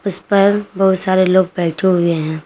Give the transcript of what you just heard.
उस पर बहुत सारे लोग बैठे हुए है।